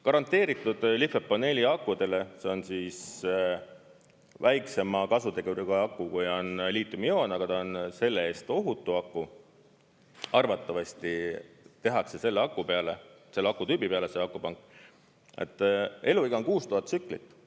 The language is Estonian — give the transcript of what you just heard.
Garanteeritult lihtsalt paneeliakudel – see on väiksema kasuteguriga aku, kui on liitiumioon, aga ta on selle eest ohutu aku ja arvatavasti tehakse selle akutüübi peale see akupank – eluiga on 6000 tsüklit.